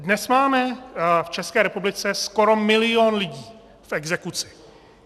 Dnes máme v České republice skoro milion lidí v exekuci.